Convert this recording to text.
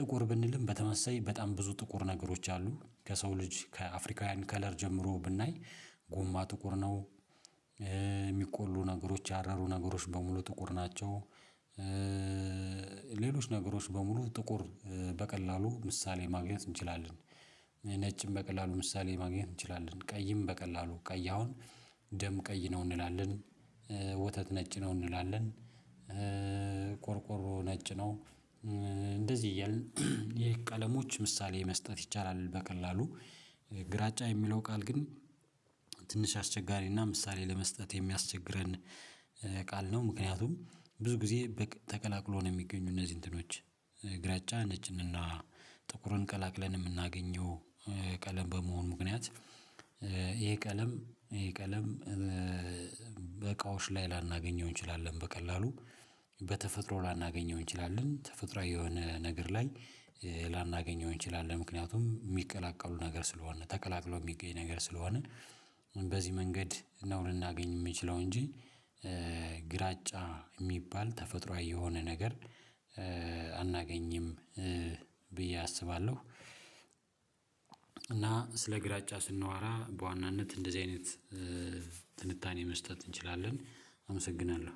ጥቁር ብንልም በተመሳሳይ በጣም ብዙ ጥቁር ነገሮች አሉ። ከሰው ልጅ ከአፍሪካውያን ከለር ጀምሮ ብናይ ጎማ ጥቁር ነው፣ የሚቆሉ ነገሮች ያረሩ ነገሮች በሙሉ ጥቁር ናቸው፣ ሌሎች ነገሮች በሙሉ ጥቁር በቀላሉ ምሳሌ ማግኘት እንችላለን። ነጭም በቀላሉ ምሳሌ ማግኘት እንችላለን። ቀይም በቀላሉ ቀይ አሁን ደም ቀይ ነው እንላለን። ወተት ነጭ ነው እንላለን። ቆርቆሮ ነጭ ነው። እንደዚህ እያልን የቀለሞች ምሳሌ መስጠት ይቻላል በቀላሉ። ግራጫ የሚለው ቃል ግን ትንሽ አስቸጋሪና ምሳሌ ለመስጠት የሚያስቸግረን ቃል ነው። ምክንያቱም ብዙ ጊዜ ተቀላቅሎ ነው የሚገኙ እነዚህ እንትኖች ግራጫ፣ ነጭንና ጥቁሩን ቀላቅለን የምናገኘው ቀለም በመሆን ምክንያት ይሄ ቀለም ይሄ ቀለም በእቃዎች ላይ ላናገኘው እንችላለን በቀላሉ በተፈጥሮ ላናገኘው እንችላለን። ተፈጥሮአዊ የሆነ ነገር ላይ ላናገኘው እንችላለን ምክንያቱም የሚቀላቀሉ ነገር ስለሆነ ተቀላቅሎ የሚገኝ ነገር ስለሆነ፤ በዚህ መንገድ ነው ልናገኝ የምንችለው እንጂ ግራጫ የሚባል ተፈጥሯዊ የሆነ ነገር አናገኝም። ብዬ አስባለሁ፤ እና ስለ ግራጫ ስናወራ በዋናነት እንደዚህ አይነት ትንታኔ መስጠት እንችላለን። አመሰግናለሁ።